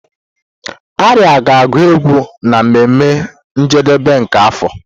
Arya ga-agu égwù na mmeme njedebe nke afọ.